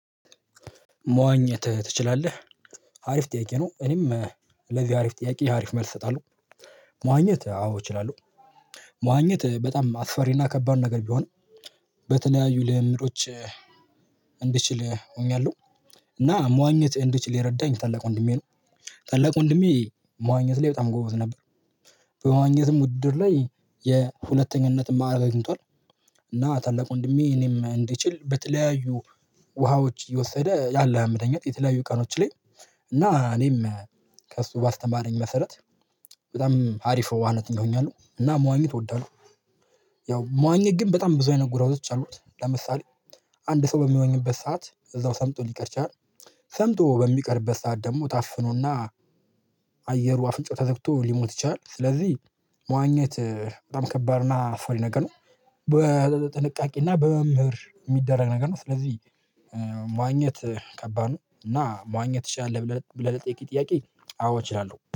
መዋኘት ትችላለህ? ሀሪፍ ጥያቄ ነው እኔም ለዚህ ሀሪፍ ጥያቄ ሀሪፍ መልስ እሰጣለሁ። መዋኘት አዎ እችላለሁ። መዋኘት በጣም አስፈሪና ከባድ ነገር ቢሆንም በተለያዩ ልምምዶች። እንድችል ሆኛለሁ እና መዋኘት እንድችል የረዳኝ ታላቅ ወንድሜ ነው። ታላቅ ወንድሜ መዋኘት ላይ በጣም ጎበዝ ነበር። በመዋኘትም ውድድር ላይ የሁለተኛነትም ማዕረግ አግኝቷል። እና ታላቅ ወንድሜ እኔም እንድችል በተለያዩ ውሃዎች እየወሰደ ያለው የምትተኛት የተለያዩ ቀኖች ላይ እና እኔም ከእሱ ባስተማረኝ መሰረት። በጣም ሀሪፍ ዋናት ሆኛለሁ እና መዋኘት እወዳለሁ። ያው መዋኘት ግን በጣም ብዙ አይነጎራቶች አሉት ለምሳሌ አንድ ሰው በሚዋኘበት ሰዓት እዛው ሰምጦ ሊቀር ይችላል። ሰምጦ በሚቀርበት ሰዓት ደግሞ ታፍኖ እና አየሩ አፍንጫው ተዘግቶ ሊሞት ይችላል። ስለዚህ መዋኘት በጣም ከባድና አስፈሪ ነገር ነው። በጥንቃቄ እና በመምህር የሚደረግ ነገር ነው። ስለዚህ መዋኘት ከባድ ነው። እና መዋኘት ትችላለህ ብለህ ለጥያቄ ጥያቄ? አዎ እችላለሁ